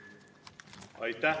Aitäh!